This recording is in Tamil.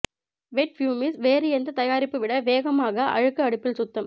வெட் பியூமிஸ் வேறு எந்த தயாரிப்பு விட வேகமாக அழுக்கு அடுப்பில் சுத்தம்